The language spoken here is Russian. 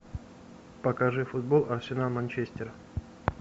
покажи футбол арсенал манчестер